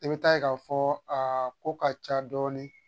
I bɛ taa ye k'a fɔ a ko ka ca dɔɔnin